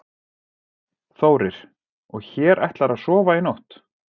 Þórir: Og hér ætlarðu að sofa í nótt?